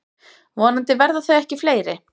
Vonandi verða þau ekki fleiri.